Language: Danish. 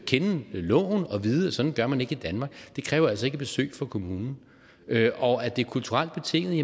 kende loven og vide at sådan gør man ikke i danmark det kræver altså ikke besøg fra kommunen og at det er kulturelt betinget